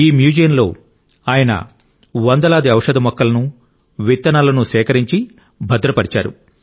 ఈ మ్యూజియంలో ఆయన వందలాది ఔషధ మొక్కలను విత్తనాలను సేకరించి భద్రపర్చారు